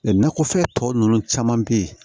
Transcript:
nakɔfɛn tɔ ninnu caman bɛ ye